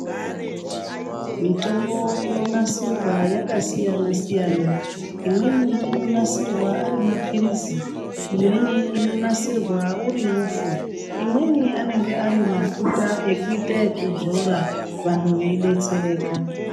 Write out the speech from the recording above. Mitombo inonasirwa yakasiyana siyana imweni inonasirwa ari mapirizi imweni inonasirwa uri upfu imweni inonasirwa ari mafuta ekuita ekudzora vantu vei detsereka.